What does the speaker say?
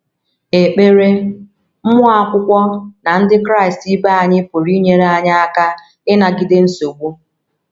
Ekpere, mmụọ Akwụkwọ na Ndị Kraịst ibe anyị pụrụ inyere anyị aka ịnagide nsogbu.